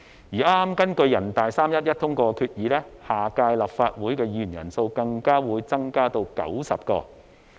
而根據人大常委會剛於3月11日通過的決議，下屆立法會議員人數更會增至90人。